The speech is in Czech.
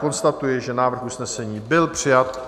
Konstatuji, že návrh usnesení byl přijat.